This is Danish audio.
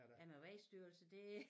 Ja med vejstyrelse det